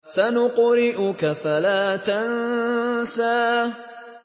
سَنُقْرِئُكَ فَلَا تَنسَىٰ